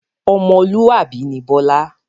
Ọmọlúwàbí ni Bọlá